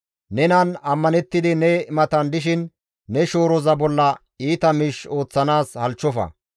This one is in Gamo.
Nenan ammanettidi ne matan dishin ne shooroza bolla iita miish ooththanaas halchchofa.